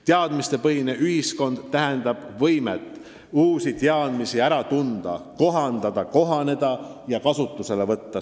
Teadmistepõhine ühiskond tähendab võimet uusi teadmisi ära tunda ja kohandada, nendega kohaneda ja neid kasutusele võtta.